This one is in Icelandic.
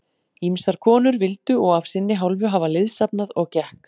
Ýmsar konur vildu og af sinni hálfu hafa liðsafnað, og gekk